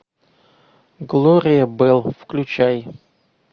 глория белл включай